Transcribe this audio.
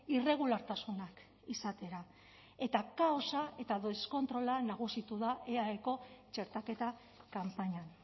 irregulartasunak izatera eta kaosa eta deskontrola nagusitu da eaeko txertaketa kanpainan